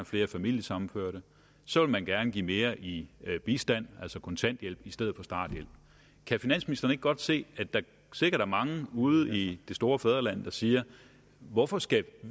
flere familiesammenførte så vil man gerne give mere i bistand altså kontanthjælp i stedet for starthjælp kan finansministeren ikke godt se at der sikkert er mange ude i det store fædreland der siger hvorfor skal